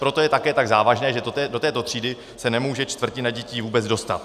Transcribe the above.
Proto je také tak závažné, že do této třídy se nemůže čtvrtina dětí vůbec dostat.